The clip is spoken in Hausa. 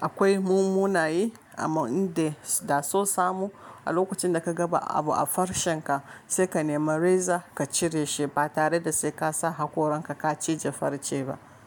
Akwai mun munayi amma in dai da so samu a lokacin da ka gaba abu a farcenka sai ka nemi reza ka cire shi ba tare da sai ka sa hakoranka ka cije farce ba.